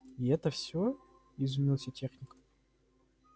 и это все изумился техник